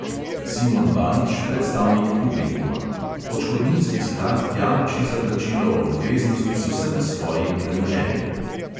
Simon banič, predstavnik publikuma: "odškodninski sklad jamči za plačilo obveznosti z vsem svojim premoženjem."